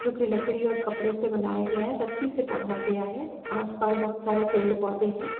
जो कि लकड़ी और कपड़े से बनाया गया है रस्सी से टांगा गया है | आसपास बहुत सारे पेड़ पौधे हैं।